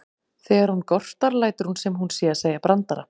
Þegar hún gortar lætur hún sem hún sé að segja brandara.